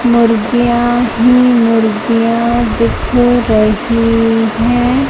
मुर्गीयां ही मुर्गीयां दिख रही है।